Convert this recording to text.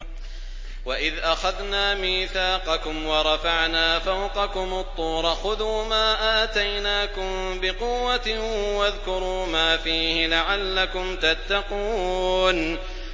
وَإِذْ أَخَذْنَا مِيثَاقَكُمْ وَرَفَعْنَا فَوْقَكُمُ الطُّورَ خُذُوا مَا آتَيْنَاكُم بِقُوَّةٍ وَاذْكُرُوا مَا فِيهِ لَعَلَّكُمْ تَتَّقُونَ